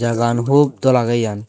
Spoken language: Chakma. jagagman hub dol agey iyan.